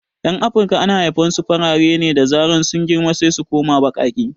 Yan afirika ana haifan su farare ne, da zaran sun girma sai su koma baƙaƙe